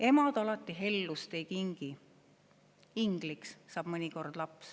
Emad alati hellust ei kingi, / ingliks saab mõnikord laps.